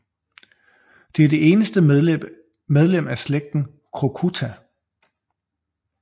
Det er det eneste medlem af slægten crocuta